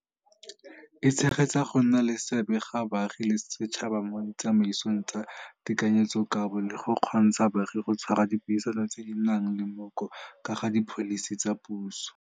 e tshegetsa go nna le seabe ga baagi le setšhaba mo ditsamaisong tsa tekanyetsokabo le go kgontsha baagi go tshwara dipuisano tse di nang le mooko ka ga dipholisi tsa puso.